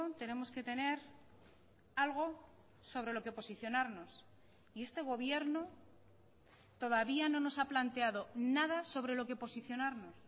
tenemos que tener algo sobre lo que posicionarnos y este gobierno todavía no nos ha planteado nada sobre lo que posicionarnos